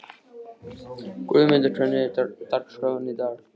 Guðmunda, hvernig er dagskráin í dag?